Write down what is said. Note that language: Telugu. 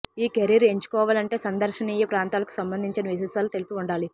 ఈ కెరీర్ ఎంచుకోవాలంటే సందర్శనీయ ప్రాంతాలకు సంబంధించిన విశేషాలు తెలిసి ఉండాలి